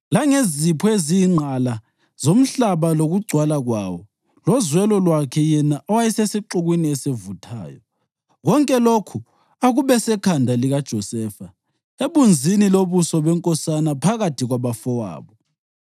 langezipho eziyingqala zomhlaba lokugcwala kwawo lozwelo lwakhe yena owayesesixukwini esivuthayo. Konke lokhu akube sekhanda likaJosefa, ebunzini lobuso benkosana phakathi kwabafowabo.